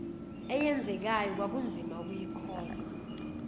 eyenzekayo kwakunzima ukuyikholwa